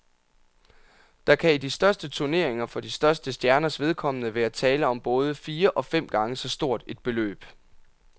Der kan i de største turneringer for de største stjerners vedkommende være tale om både fire og fem gange så stort et beløb.